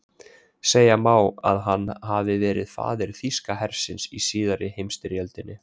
Segja má að hann hafi verið faðir þýska hersins í síðari heimsstyrjöldinni.